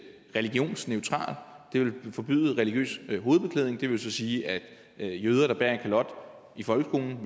religionsneutralt det ville forbyde religiøs hovedbeklædning det vil så sige at jøder der bærer en kalot i folkeskolen